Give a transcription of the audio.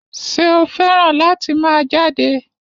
Ṣé o fẹ́ràn láti máa jáde?